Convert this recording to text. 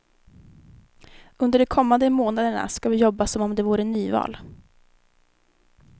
Under de kommande månaderna ska vi jobba som om det vore nyval.